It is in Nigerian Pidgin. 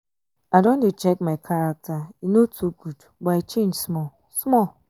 i don dey check my character e no too good but i change small-small.